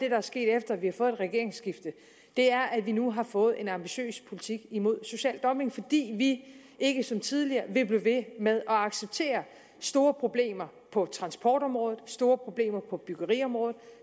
er sket efter at vi har fået et regeringsskifte er at vi nu har fået en ambitiøs politik imod social dumping fordi vi ikke som tidligere vil blive ved med at acceptere store problemer på transportområdet store problemer på byggeriområdet